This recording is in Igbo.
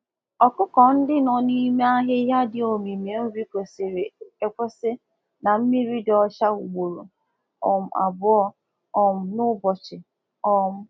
Umụ ọkụkọ dị na mkpuchi ala mmiri kwesịrị ka enye ha enye ha ezi nri oriri na nri oriri na mmiri ọñụñụ dị ọcha ugboro abụọ na ụbọchị